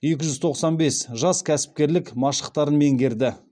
екі жүз тоқсан бес жас кәсіпкерлік машықтарын меңгерді